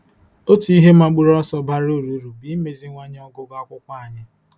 Otu ihe mgbaru ọsọ bara uru uru bụ imeziwanye ọgụgụ akwụkwọ anyị.